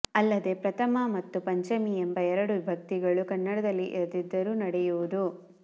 ಅಲ್ಲದೆ ಪ್ರಥಮ ಮತ್ತು ಪಂಚಮೀ ಎಂಬ ಎರಡು ವಿಭಕ್ತಿಗಳು ಕನ್ನಡದಲ್ಲಿ ಇರದಿದ್ದರು ನಡೆಯುವುದು